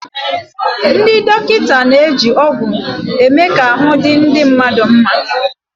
Ndị dọkịta na-eji ọgwụ eme ka ahụ́ di ndị mmadụ nma.